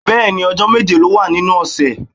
Bẹ́ẹ̀ni, ọjọ́ méje ló wà nínú ọ̀sẹ̀.